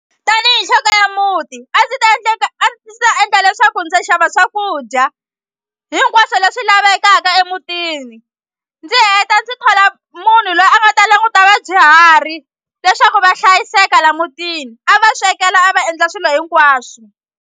Tanihi nhloko ya muti a ndzi ta a ndzi ta endla leswaku ndza xava swakudya hinkwaswo leswi lavekaka emutini ndzi heta ndzi thola munhu loyi a nga ta languta vadyuhari leswaku va hlayiseka la mutini a va swekela a va endla swilo hinkwaswo.